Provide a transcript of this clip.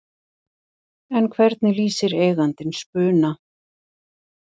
En hvernig lýsir eigandinn Spuna?